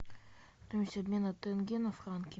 курс обмена тенге на франки